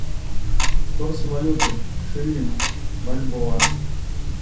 курс валюты шиллинг бальбоа